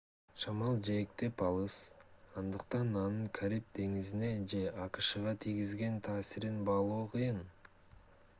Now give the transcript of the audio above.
шамал жээктен алыс андыктан анын кариб деңизине же акшга тийгизген таасирин баалоо кыйын